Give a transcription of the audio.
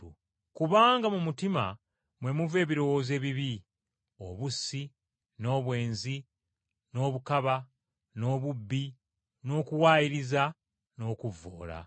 Kubanga mu mutima mwe muva ebirowoozo ebibi, obussi, n’obwenzi, eby’obukaba, n’obubbi, n’okuwaayiriza, n’okuvvoola.